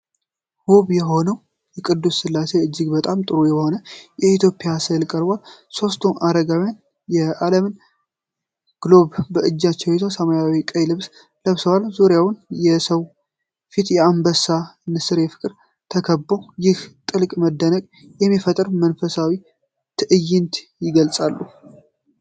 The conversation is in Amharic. ውብ የሆነው ቅዱስ ሥላሴ እጅግ በጣም ጥሩ በሆነ የኢትዮጵያ ሥዕል ቀርቧል። ሦስቱ አረጋውያን የዓለምን ግሎብ በእጃቸው ይዘው፣ ሰማያዊና ቀይ ልብስ ለብሰዋል። ዙሪያውን የሰው ፊት፣ አንበሳና ንስር በፍቅር ተከብበው፤ ይህንን ጥልቅ መደነቅ የሚፈጥር መንፈሳዊ ትዕይንት ይገልጻሉ።